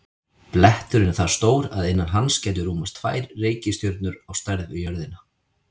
Bletturinn er það stór að innan hans gætu rúmast tvær reikistjörnur á stærð við jörðina.